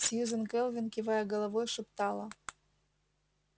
сьюзен кэлвин кивая головой шептала